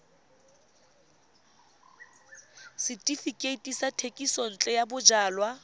setefikeiti sa thekisontle ya bojalwa